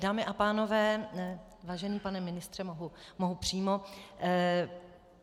Dámy a pánové, vážený pane ministře, mohu přímo.